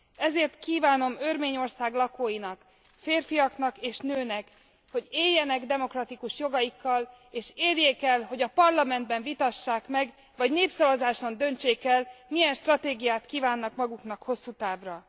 Ezért kívánom Örményország lakóinak, férfiaknak és nőknek, hogy éljenek demokratikus jogaikkal, és érjék el, hogy a parlamentben vitassák meg, vagy népszavazáson döntsék el, milyen stratégiát kívánnak maguknak hosszú távra.